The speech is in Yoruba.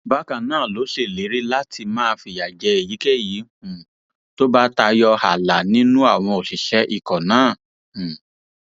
bákan náà ló ṣèlérí láti máa fìyà jẹ èyíkéyìí um tó bá tayọ ààlà nínú àwọn òṣìṣẹ ikọ náà um